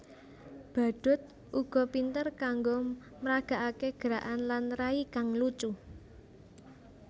Badhut uga pinter kanggo mragakaké gerakan lan rai kang lucu